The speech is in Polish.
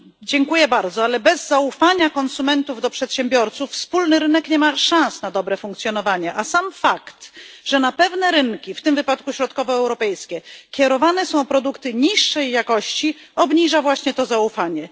Dziękuję bardzo, ale bez zaufania konsumentów do przedsiębiorców wspólny rynek nie ma szans na dobre funkcjonowanie, a sam fakt, że na pewne rynki w tym wypadku środkowoeuropejskie kierowane są produkty niższej jakości, obniża to zaufanie.